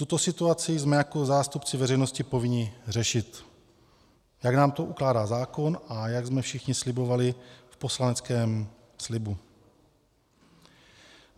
Tuto situaci jsme jako zástupci veřejnosti povinni řešit, jak nám to ukládá zákon a jak jsme všichni slibovali v poslaneckém slibu.